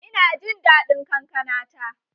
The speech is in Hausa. Ina jin daɗin kankana ta.